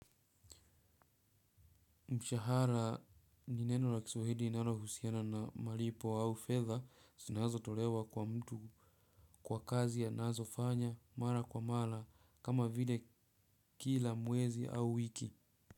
Mshahara, ni neno la kiswahili rinalo husiana na malipo au fedha sinazo tolewa kwa mtu kwa kazi anazofanya mara kwa mala kama vile kila mwezi au wiki.